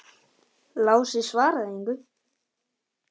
Lási svaraði engu.